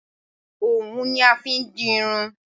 òwún ni a fi n di irun